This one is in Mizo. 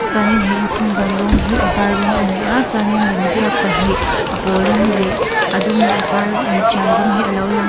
chuanin he inchhung bang rawng hi a vâr rawng a ni a chuanin lemziak pahnih a pâwl rawng leh a dum leh a vâr inṭial rawng hi a lo lang a.